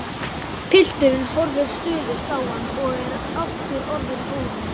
Pilturinn horfir stöðugt á hann og er aftur orðinn órólegur.